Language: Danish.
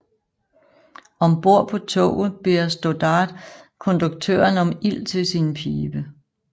Om bord på toget beder Stoddard konduktøren om ild til sin pibe